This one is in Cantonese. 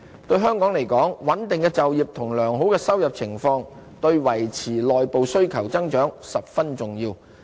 對香港而言，穩定的就業及良好的收入情況，對維持內部需求增長十分重要。